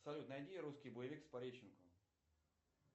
салют найди русский боевик с пореченковым